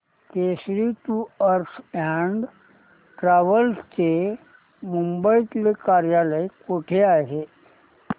Kesari tours and travels चे मुंबई तले कार्यालय कुठे आहे